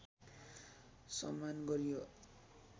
सम्मान गरियो